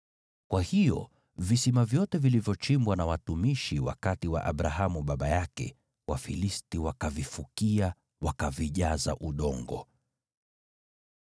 Kwa hiyo visima vyote vilivyochimbwa na watumishi wakati wa Abrahamu baba yake, Wafilisti wakavifukia, wakavijaza udongo.